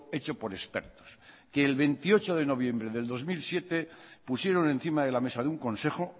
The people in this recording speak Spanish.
hecho por expertos que el veintiocho de noviembre del dos mil siete pusieron encima de la mesa de un consejo